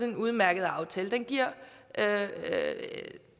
en udmærket aftale den giver